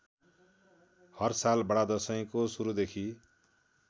हरसाल बडादशैँको सुरुदेखि